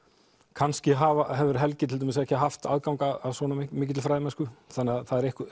kannski hefur Helgi til dæmis ekki haft aðgang að svona mikilli fræðimennsku þannig að